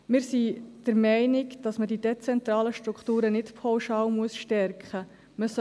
Wir sind der Meinung, dass man die dezentralen Strukturen nicht pauschal stärken muss.